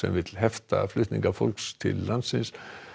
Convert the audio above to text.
vilja hefta flutninga fólks til landsins